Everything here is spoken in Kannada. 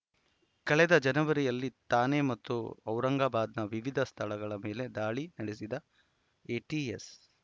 ಕಳೆದ ಜನವರಿಯಲ್ಲಿ ಥಾಣೆ ಮತ್ತು ಔರಂಗಾಬಾದ್‌ನ ವಿವಿಧ ಸ್ಥಳಗಳ ಮೇಲೆ ದಾಳಿ ನಡೆಸಿದ್ದ ಎಟಿಎಸ್‌